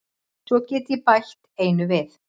Svo get ég bætt einu við.